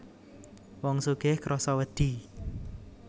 Wong sugih krasa wedi